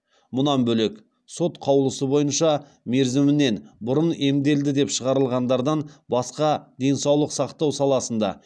мұнан бөлек сот қаулысы бойынша мерзімінен бұрын емделді деп шығарылғандардан басқа денсаулық сақтау саласында